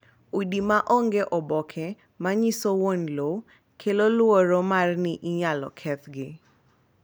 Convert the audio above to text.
Udi ma onge oboke ma nyiso wuon lowo kelo luoro mar ni inyal kethgi.